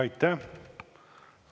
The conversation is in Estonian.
Aitäh!